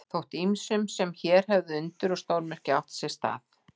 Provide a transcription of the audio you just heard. Þótti ýmsum sem hér hefðu undur og stórmerki átt sér stað.